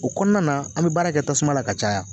O kɔnɔna na an bɛ baara kɛ tasuma la ka caya